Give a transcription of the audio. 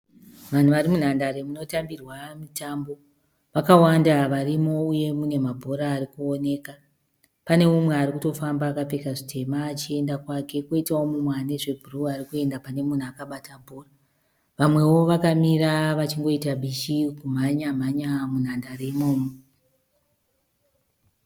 Vanhu varimunhandare mutambirwa mitambo. Vakawanda varimo uye mune mabhora arikuonekwa pane mumwe arikutofamba akapfeka zvitema achienda kwake, kwoitawo mumwe anezvebhuru arikuenda kune munhu akabata bhora. Vamwewo vakamira vachita bishi kumhanya mhanya munhadare imomo.